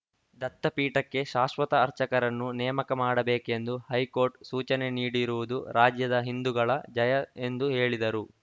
ದತ್ತಪೀಠಕ್ಕೆ ಶಾಶ್ವತ ಅರ್ಚಕರನ್ನು ನೇಮಕ ಮಾಡಬೇಕೆಂದು ಹೈಕೋರ್ಟ್ ಸೂಚನೆ ನೀಡಿರುವುದು ರಾಜ್ಯದ ಹಿಂದುಗಳ ಜಯ ಎಂದು ಹೇಳಿದರು